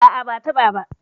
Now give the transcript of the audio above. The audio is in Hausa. A'a, ba'a taɓa ba.